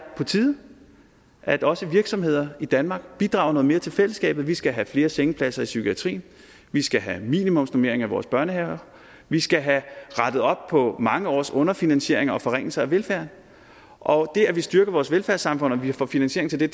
på tide at også virksomheder i danmark bidrager noget mere til fællesskabet vi skal have flere sengepladser i psykiatrien vi skal have minimumsnormeringer i vores børnehaver vi skal have rettet op på mange års underfinansiering og forringelse af velfærden og det at vi styrker vores velfærdssamfund og vi får finansiering til det